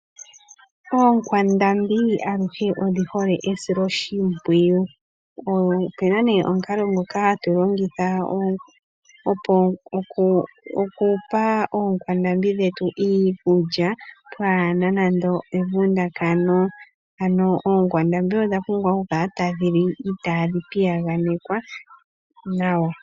Ookwandambi aluhe odhi hole esilo shimpwiyu, opuna ne omukalo ngoka hatu longitha okupa oonkwandambi dhetu iikulya pwaana nando evundakano, ano oonkwandambi odha pumbwa oku kala tadhi li itaadhi piyaganekwa nawa.